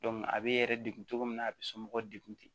a bɛ yɛrɛ degun cogo min na a bɛ somɔgɔw degun ten